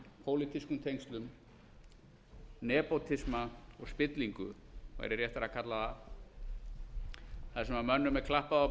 pólitískum tengslum nepótisma og spillingu væri réttara að kalla það þar sem mönnum er klappað á